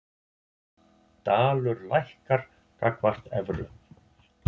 Dalur lækkar gagnvart evru